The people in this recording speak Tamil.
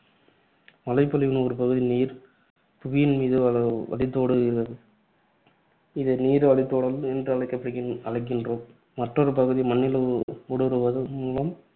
மழைப்பொழிவின் ஒருபகுதி நீர், புவியின் மீது வ~ வ~ வழிந்தோடுகிறது. இதை நீர் வழிந்தோடல் என அழைக்கப்~ அழைக்கின்றோம். மற்றொரு பகுதி மண்ணில் ஊடுருவல் மூலம்